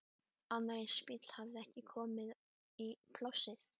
Annar eins bíll hafði ekki komið í plássið.